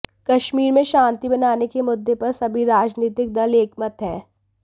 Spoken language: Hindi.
कश्मीर में शांति बनाने के मुद्दे पर सभी राजनीतिक दल एकमत हैं